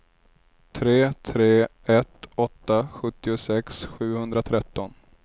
tre tre ett åtta sjuttiosex sjuhundratretton